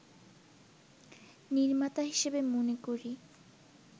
নির্মাতা হিসেবে মনে করি